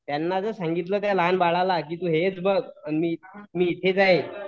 त्यांना जर सांगितलं त्या लहान बाळाला तू हेच बघ मी इथेच आहे